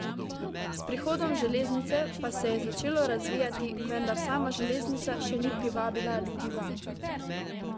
S prihodom železnice pa se je začelo razvijati, vendar sama železnica še ni privabila ljudi vanj.